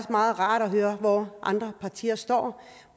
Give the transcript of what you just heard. meget rart at høre hvor andre partier står